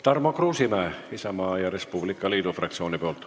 Tarmo Kruusimäe Isamaa ja Res Publica Liidu fraktsiooni nimel.